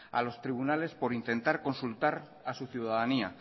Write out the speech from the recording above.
a los tribunales por intentar consultar a su ciudadanía